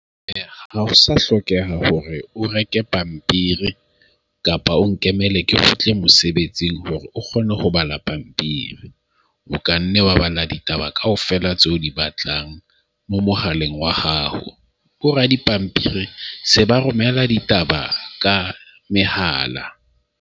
Eya, ha ho sa hlokeha hore o reke pampiri kapa o nkemele ke kgutle mosebetsing hore o kgone ho bala pampiri. O kanne wa bala ditaba kaofela tse o di batlang mo mohaleng wa hao. Ko re dipampiri se ba romela ditaba ka mehala.